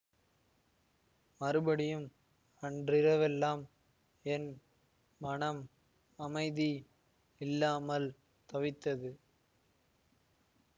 மறுபடியும் அன்றிரவெல்லாம் என் மனம் அமைதி இல்லாமல் தவித்தது